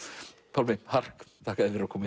Pálmi hark þakka þér fyrir að koma